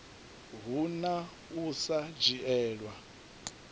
hu na u sa dzhielwa